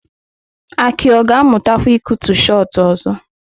Aki ọ ga-amụtakwa ịkụtu Shot ọzọ?